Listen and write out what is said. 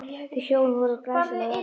Þau hjón voru glæsileg á velli.